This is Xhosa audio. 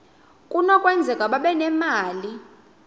kunokwenzeka babe nemali